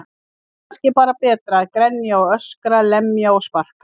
En kannski er bara betra að grenja og öskra, lemja og sparka.